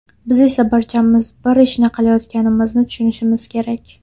Biz esa barchamiz bir ishni qilayotganimizni tushunishimiz kerak.